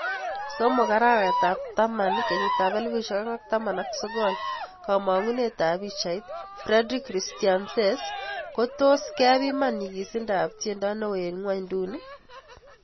3 arawet ab taman 2019 kamangunet ab pichait, Fredrik Christiansen kotos kepiman nyigisindo ab tiendo neo eng ngweny duni.